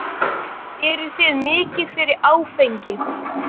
Eruð þið mikið fyrir áfengi?